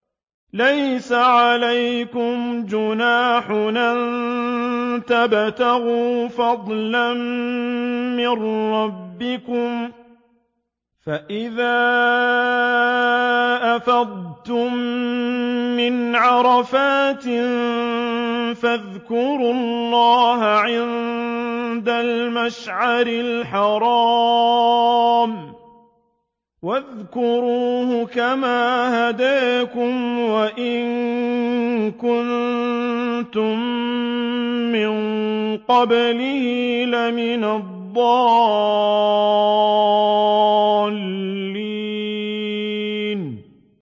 لَيْسَ عَلَيْكُمْ جُنَاحٌ أَن تَبْتَغُوا فَضْلًا مِّن رَّبِّكُمْ ۚ فَإِذَا أَفَضْتُم مِّنْ عَرَفَاتٍ فَاذْكُرُوا اللَّهَ عِندَ الْمَشْعَرِ الْحَرَامِ ۖ وَاذْكُرُوهُ كَمَا هَدَاكُمْ وَإِن كُنتُم مِّن قَبْلِهِ لَمِنَ الضَّالِّينَ